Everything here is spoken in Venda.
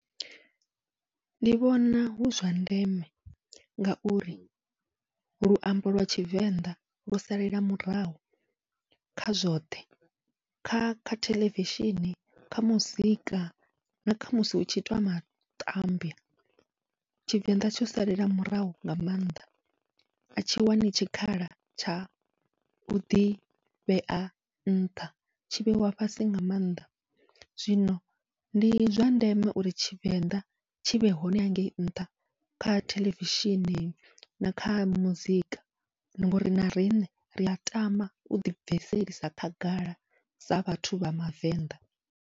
Ndi vhona hu zwa ndeme ngauri luambo lwa tshivenḓa lu salela murahu kha zwoṱhe, kha kha theḽevishini, kha muzika nakha musi hutshi itwa matambwa tshivenḓa tsho salela murahu nga maanḓa, atshi wani tshikhala tsha u ḓivhea nṱha tshi vheiwa fhasi nga maanḓa. Zwino ndi zwa ndeme uri tshivenḓa tshivhe hone hangei nṱha, kha theḽevishini nakha muzika ngori na riṋe ria tama uḓi bviselisa khagala sa vhathu vha mavenḓa.